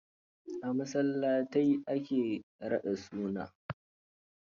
A masallatai a ke raɗin suna.